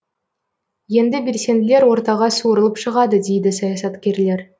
енді белсенділер ортаға суырылып шығады дейді саясаткерлер